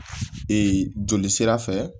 joli sira fɛ